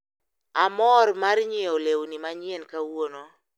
Amor mar nyiewo lewni manyien kawuono.